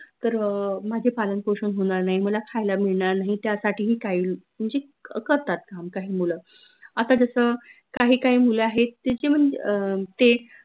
तर अह माझे पालन पोषन होनार नाई मला खायला मिळनार नाही त्यासाठी ही काही म्हनजे करतात काम काही मुलं आता जस काही काही मुलं आहेत ते जेव्हा म्हनजे अह ते